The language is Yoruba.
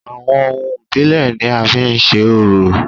Àwọn ohun ìbílẹ̀ ni a fi ń se orò